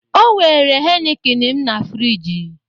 Ọ were heineken m na frịji